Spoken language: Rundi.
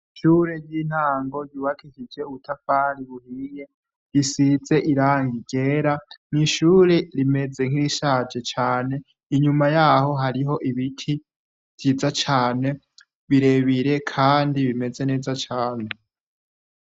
Ishure ry'intango ryubakishije ubutafari buhiye risize irangi yera, mw'ishure rimeze nk'irishaje cane. Inyuma yaho hariho ibiti vyiza cane birebire kandi bimeze neza cane.